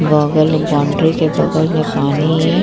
बगल में बाउंड्री के बगल में पानी --